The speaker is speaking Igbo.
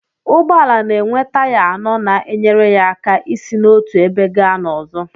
Ụgbọala na-enwe taya anọ na-enyere ya aka isi n'otu ebe gaa n'ọzọ.